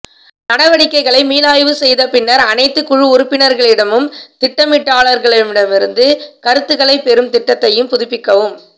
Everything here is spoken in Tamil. நடவடிக்கைகளை மீளாய்வு செய்த பின்னர் அனைத்து குழு உறுப்பினர்களிடமும் திட்டமிடலாளர்களிடமிருந்து கருத்துக்களைப் பெறும் திட்டத்தையும் புதுப்பிக்கவும்